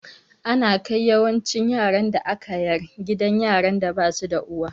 Ana kai yawancin yaran da aka yar gidan yaran da basu da uwa